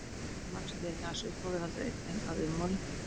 Tré vaxa því ekki aðeins upp á við heldur einnig að ummáli.